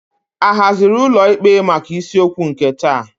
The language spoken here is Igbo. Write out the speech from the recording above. A haziri ụlọ ikpe maka isiokwu nke taa?